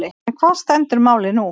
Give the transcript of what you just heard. En hvar stendur málið nú?